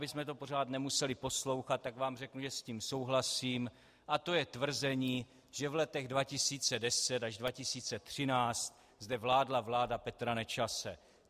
Abychom to pořád nemuseli poslouchat, tak vám řeknu, že s tím souhlasím, a to je tvrzení, že v letech 2010 až 2013 zde vládla vláda Petra Nečase.